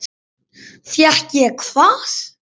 Fékk ég hvað?